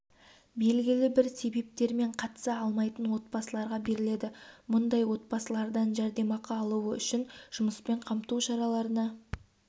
белгілі бір себептермен қатыса алмайтын отбасыларға беріледі мұндай отбасылардан жәрдемақы алуы үшін жұмыспен қамту шараларына